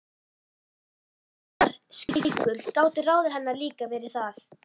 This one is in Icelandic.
Ef hún var skeikul gátu ráð hennar líka verið það.